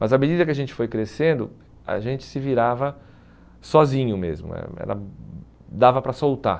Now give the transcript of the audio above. Mas à medida que a gente foi crescendo, a gente se virava sozinho mesmo, eh já dava dava para soltar.